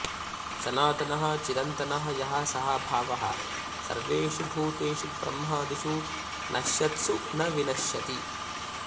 सनातनः चिरन्तनः यः सः भावः सर्वेषु भूतेषु ब्रह्मादिषु नश्यत्सु न विनश्यति